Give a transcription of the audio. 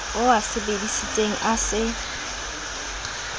o a sebesisitseng a se